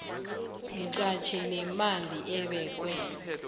mqatjhi nemali ebekwe